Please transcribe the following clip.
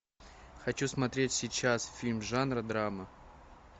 хочу смотреть сейчас фильм жанра драма